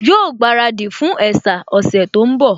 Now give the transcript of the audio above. Yóò gbaradì fún ẹ̀sà ọ̀sẹ̀ tó ń bọ̀